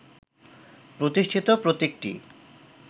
প্রতিষ্ঠিত প্রতীকটি